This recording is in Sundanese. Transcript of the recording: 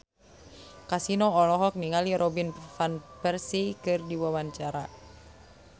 Kasino olohok ningali Robin Van Persie keur diwawancara